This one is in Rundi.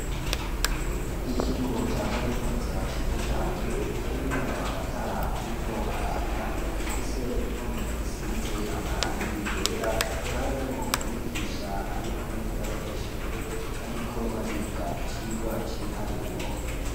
Ikigo ca kaminuza, ciza cane, kirimwo amatara, ariko araka, gifise impome, zisize amarangi yera, carimwo umwigisha, ari kumwe n'abanyeshure, bariko bariga, icigwa c'ibiharuro.